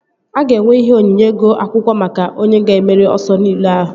A ga-enwe ihe onyinye ego akwụkwọ maka onye ga-emeri ọsọ riile ahụ